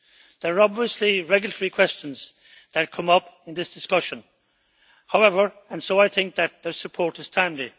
There are obviously regulatory questions that come up in this discussion, however, and so I think that the support is timely.